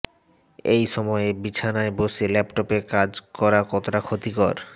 এই সময়ে বিছানায় বসে ল্যাপটপে কাজ করা কতটা ক্ষতিকর